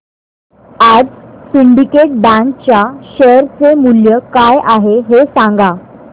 आज Syndicate Bank च्या share चे मूल्य काय आहे हे सांगा